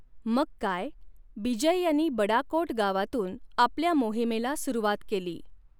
मग काय, बिजय यांनी बड़ाकोट गावातून आपल्या मोहिमेला सुरुवात केली.